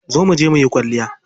Zo muje muyi kwalliya.